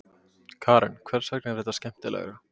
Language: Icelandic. Karen: Hvers vegna er það skemmtilegra?